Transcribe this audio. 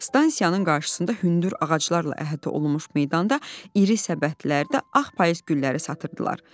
Stansiyanın qarşısında hündür ağaclarla əhatə olunmuş meydanda iri səbətlərdə ağ payız gülləri satırdılar.